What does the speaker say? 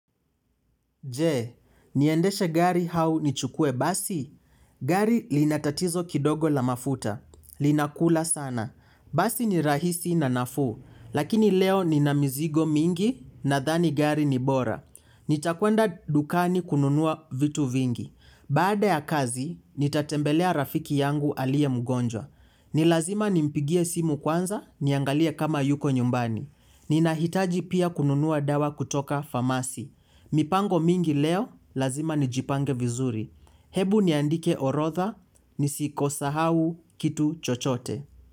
Je, niendeshe gari au nichukue basi? Gari lina tatizo kidogo la mafuta. Linakula sana. Basi ni rahisi na nafuu. Lakini leo nina mizigo mingi nadhani gari ni bora. Nitakwenda dukani kununua vitu vingi. Baada ya kazi, nitatembelea rafiki yangu aliye mgonjwa. Ni lazima nimpigie simu kwanza niangalie kama yuko nyumbani. Ninahitaji pia kununua dawa kutoka famasi. Mipango mingi leo, lazima nijipange vizuri. Hebu niandike orodha nisisahau kitu chochote.